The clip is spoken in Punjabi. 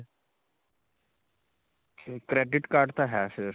credit card ਤਾਂ ਹੈ ਫਿਰ.